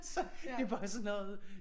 Så det bare sådan noget